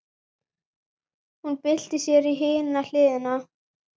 Hún byltir sér á hina hliðina.